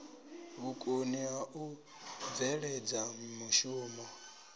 vhukoni ha u bveledza mushumo